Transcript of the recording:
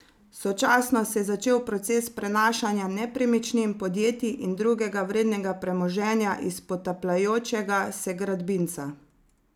Sočasno se je začel proces prenašanja nepremičnin, podjetij in drugega vrednega premoženja iz potapljajočega se gradbinca.